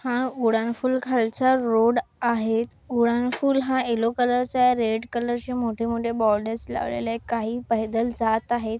हा उडानपूल खालचा रोड आहे. उडानपूल हा येल्लो कलरचा आहे. रेड कलर चे अशे मोठ मोठे बॉर्डर्स लावलेल आहे. काही पैदल जात आहेत.